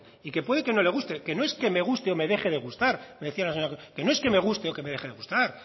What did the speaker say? y que puede que no le guste que no es que me guste o me deje de gustar me decía la señora que no es que me guste o me deje de gustar